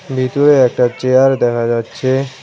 ভিতরে একটা চেয়ার দেখা যাচ্ছে।